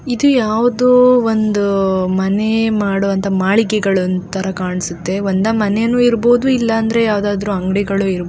ಇದು ಯಾವುದೊ ಒಂದು ಮನೆ ಮಾಡುವ ಮಾಳಿಗೆ ಅಂತ ಕಾಣ್ಸುತ್ತೆ ಒಂದ ಮನೆ ಇರ್ಬಹುದು ಇಲ್ಲ ಅಂಗಡಿ ಇರಬಹುದು.